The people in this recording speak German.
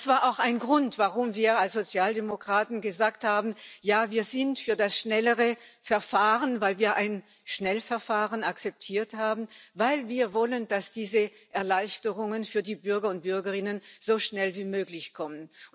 Das war auch ein Grund, warum wir als Sozialdemokraten gesagt haben Ja, wir sind für das schnellere Verfahren, dass wir ein Schnellverfahren akzeptiert haben, weil wir wollen, dass diese Erleichterungen für die Bürger und Bürgerinnen so schnell wie möglich kommen.